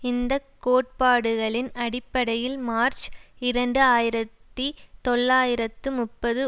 இந்த கோட்பாடுகளின் அடிப்படையில் மார்ச் இரண்டு ஆயிரத்தி தொள்ளாயிரத்து முப்பது